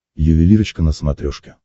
ювелирочка на смотрешке